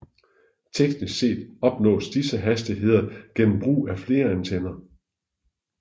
Teknisk set opnås disse hastigheder gennem brug af flere antenner